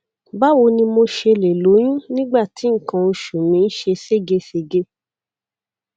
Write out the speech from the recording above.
báwo ni mo ṣe lè lóyún nígbà tí nǹkan oṣù mi ń ṣe ségesège